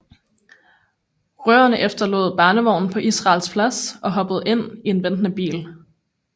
Røverne efterlod barnevognen på Israels Plads og hoppede ind i en ventende bil